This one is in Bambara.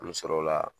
An bɛ sɔrɔ o la